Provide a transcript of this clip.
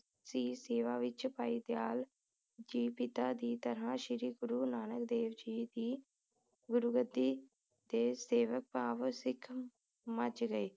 ਸੀ ਸੇਵਾ ਵਿਚ ਭਾਈ ਦਯਾਲ ਜੀ ਪਿਤਾ ਦੀ ਤਰ੍ਹਾਂ ਸ਼੍ਰੀ ਗੁਰੂ ਨਾਨਕ ਦੇਵ ਜੀ ਦੀ ਗੁਰੁਗਦੀ ਤੇ ਸੇਵਾ ਭਾਵ ਸਿੱਖ ਮਝ ਗਏ